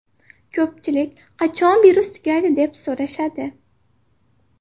Ko‘pchilik ‘Qachon virus tugaydi?’, deb so‘rashadi.